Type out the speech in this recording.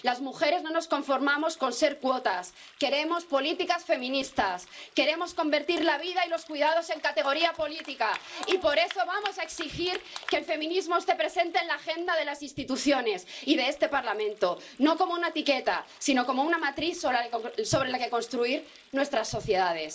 Las mujeres no nos conformamos con ser cuotas, queremos políticas feministas, queremos convertir la vida y los cuidados en categoría política, y por eso vamos a exigir que el feminismo esté presente en la agenda de las instituciones y de este Parlamento no como una etiqueta, sino como una matriz sobre la que construir nuestras sociedades.